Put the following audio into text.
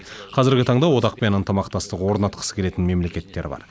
қазіргі таңда одақпен ынтымақтастық орнатқысы келетін мемлекеттер бар